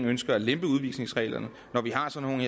ønsker at lempe udvisningsreglerne